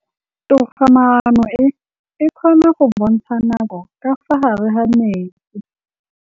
Toga-maanô e, e kgona go bontsha nakô ka fa gare ga metsi.